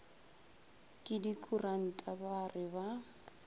ke dikuranta ba re ba